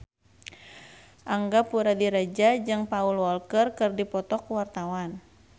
Angga Puradiredja jeung Paul Walker keur dipoto ku wartawan